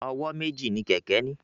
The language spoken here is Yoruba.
Ọwọ́ méjì ni kẹ̀kẹ́ ní.